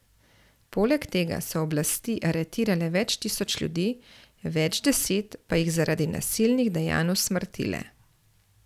Poleg tega so oblasti aretirale več tisoč ljudi, več deset pa jih zaradi nasilnih dejanj usmrtile.